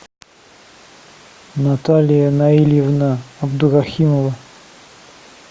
наталия наильевна абдурахимова